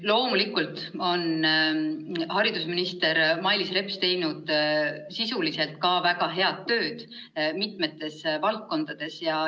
Loomulikult on haridusminister Mailis Reps teinud sisuliselt väga head tööd mitmes valdkonnas.